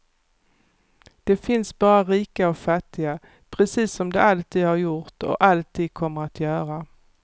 Det finns bara rika och fattiga, precis som det alltid har gjort och alltid kommer att göra.